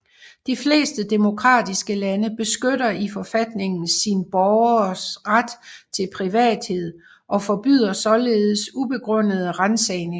De fleste demokratiske lande beskytter i forfatningen sin borgeres ret til privathed og forbyder således ubegrundede ransagninger